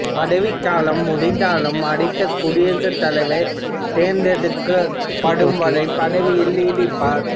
பதவிக் காலம் முடிந்தாலும் அடுத்த குடியரசுத் தலைவர் தேர்ந்தெடுக்கப்படும் வரை பதவியில் நீடிப்பார்